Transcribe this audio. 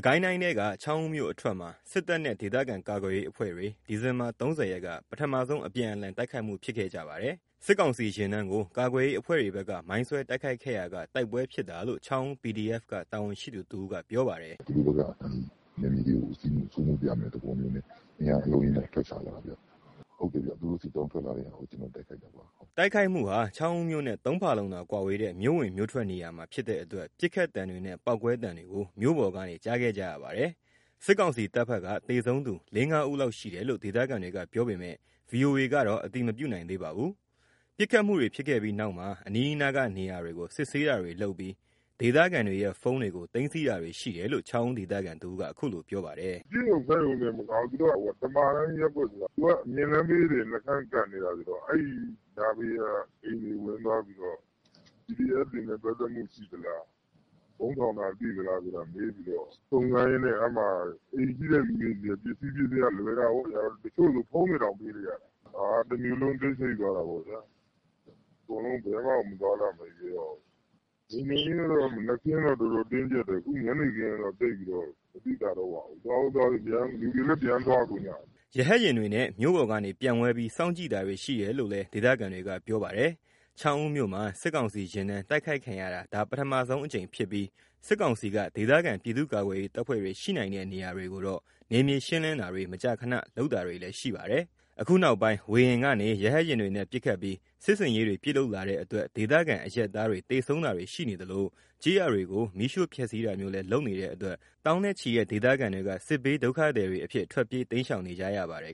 ကိုင်းတိုင်းထဲက ချောင်းဦးမြို့အထွက်မှာ စစ်တပ်နဲ့ ဒေသခံကာကွယ်ရေးအဖွဲ့တွေ ဒီဇင်ဘာ ၃၀ ရက်က ပထမဆုံး အပြန်အလှန် တိုက်ခိုက်မှုဖြစ်ခဲ့ကြပါတယ်။ စစ်ကောင်စီ ယာဉ်တန်းကို ကာကွယ်ရေးအဖွဲ့တွေဘက်က မိုင်းဆွဲတိုက်ခိုက်ခဲ့ရာက တိုက်ပွဲဖြစ်တာလို့ ချောင်းဦး PDF က တာဝန်ရှိသူတဦးက ပြောပါတယ်။ “သူတို့ဘက်က နယ်မြေတွေစိုးမိုးမယ့်ပုံစံနဲ့ အင်အား အလုံးအရင်းနဲ့ ထွက်ချလာတာ။ သူတို့စစ်ကြောင်းထွက်လာတာကို တိုက်ခိုက်ခဲ့တာ” တိုက်ခိုက်မှုဟာ ချောင်းဦး မြို့နဲ့ ၃ ဖာလုံသာ ကွာဝေးတဲ့ မြို့ဝင် မြို့ထွက်နေရာမှာ ဖြစ်တဲ့အတွက် ပစ်ခတ်သံတွေနဲ့ ပေါက်ကွဲသံတွေကို မြို့ပေါ်ကနေ ကြားခဲ့ကြရပါတယ်။ စစ်ကောင်စီတပ်ဘက်က သေဆုံးသူ ၄ - ၅ ဦးလောက်ရှိတယ်လို့ ဒေသခံတွေက ပြောပေမဲ့ ဗီအိုအေကတော့ အတည်မပြုနိုင်ပါဘူး။ ပစ်ခတ်မှုတွေဖြစ်ခဲ့ပြီးနောက် အနီးအနားက နေရာတွေကို စစ်ဆေးတာတွေလုပ်ပြီး ဒေသခံတွေရဲ့ ဖုန်းတွေကို သိမ်းဆည်းတာတွေရှိတယ်လို့ ချောင်းဦးဒေသခံတဦးက အခုလို ပြောပါတယ်။ “ပစ်ရုံခတ်ရုံတင်မကဘူး တမာတန်းရပ်ကွက်ဆိုတာရှိတယ်။ သူကအမြင့်လမ်းဘေးတင် ကပ်ရပ်ဆိုတော့ အဲ့နားက အိမ်တွေဝင်ပြီးတော့ PDF တွေနဲ့ ပတ်သက်မှုရှိလား။ ဗုံးထောင်တာ တွေ့သလား မေးပြီးတော့ စုံစမ်းရင်းနဲ့ တချို့ဆို ဖုန်းတွေတောင် ပေးလိုက်ရတယ်။ တမြို့လုံးတော့ တိတ်ဆိတ်သွားတယ်။ ဘယ်မှ မသွားလာရဲတော့ဘူး။ လုံခြုံရေးက မနက်ခင်းက တင်းကြပ်တယ်။ ညနေခင်းတော့ သိပ်မသိသာတော့ဘူး လူတွေလည်း ပြန်သွားကုန်ကြပြီ။” ရဟတ်ယာဉ်တွေနဲ့ မြို့ပေါ်ကနေ ပျံဝဲပြီး စောင့်ကြည့်တာတွေရှိတယ်လို့လည်း ဒေသခံတွေက ပြောပါတယ်။ ချောင်းဦးမြို့မှာ စစ်ကောင်စီယာဉ်တန်း တိုက်ခိုက်ခံရတာ ဒါပထမဆုံးအကြိမ်ဖြစ်ပြီး စစ်ကောင်စီက ဒေသခံ ပြည်သူ့ကာကွယ်ရေး တပ်ဖွဲ့တွေရှိနိုင်တဲ့ နေရာတွေကိုတော့ နယ်မြေရှင်းလင်းတာတွေ မကြာမကြာလုပ်တာတွေလည်းရှိပါတယ်။ အခုနောက်ပိုင်း ဝေဟင်ကနေ ရဟတ်ယာဉ်တွေနဲ့ ပစ်ခတ်ပြီး စစ်ဆင်ရေးတွေပြုလုပ်လာတဲ့အတွက် ဒေသခံအရပ်သားတွေ သေဆုံးတာတွေရှိသလို ကျေးရွာတွေကို မီးရှို့ဖျက်ဆီးတာမျိုးလည်း လုပ်နေတဲ့အတွက် သောင်းနဲ့ချီတဲ့ ဒေသခံတွေက စစ်ဘေးဒုက္ခသည်အဖြစ် ထွက်ပြေးတိမ်းရှောင်နေရပါတယ်